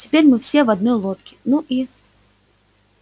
теперь мы все в одной лодке ну и